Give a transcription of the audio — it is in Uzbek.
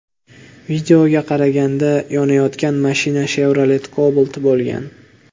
Videoga qaraganda, yonayotgan mashina Chevrolet Cobalt bo‘lgan.